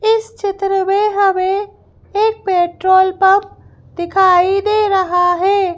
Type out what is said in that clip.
इस क्षेत्र में हमें एक पेट्रोल पंप दिखाई दे रहा है।